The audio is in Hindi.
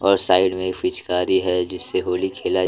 और साइड में एक पिचकारी हैजिससे होली खेला--